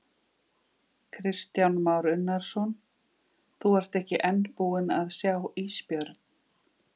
Kristján Már Unnarsson: Þú ert ekki enn búinn að sjá ísbjörn?